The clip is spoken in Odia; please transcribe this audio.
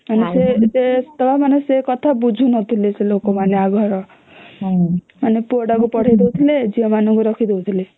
ସେତେବେଳେ ମାନେ ସେ କଥା ବୁଝୁ ନଥିଲେ ଲୋକମାନେ ଆଗର ମାନେ ପୁଅ ତାକୁ ପଢ଼େଇ ଦଉଥିଲେ ଝିଅ ଟାକୁ ରଖି ଦଉଥିଲେ